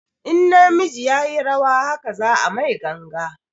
In na miji yayi rawa haka za a mai ganga